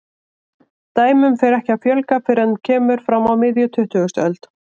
Dæmum fer ekki að fjölga fyrr en kemur fram á miðja tuttugustu öld.